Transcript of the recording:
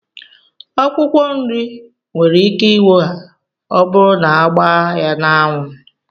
Akwụkwọ nri nwere ike inwoha ọburu na agba ya na anwu